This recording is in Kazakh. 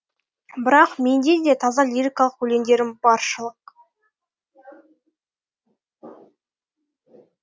бірақ менде де таза лирикалық өлеңдерім баршылық